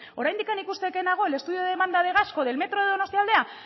oraindikan ikusteke nago el estudio de demanda de gasco del metro de donostialdea